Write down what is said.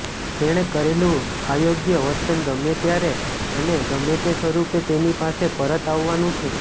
તેણે કરેલું અયોગ્ય વર્તન ગમે ત્યારે અને ગમે તે સ્વરૂપે તેની પાસે પરત આવવાનું છે